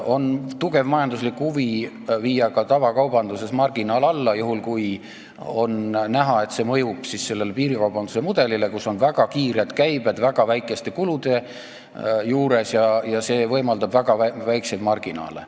On tugev majanduslik huvi viia ka tavakaubanduses marginaal alla, juhul kui on näha, et see mõjub piirikaubanduse mudelile, kus on väga kiired käibed väga väikeste kulude juures, mis võimaldab väga väikseid marginaale.